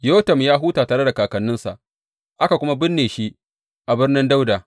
Yotam ya huta tare da kakanninsa, aka kuma binne shi a Birnin Dawuda.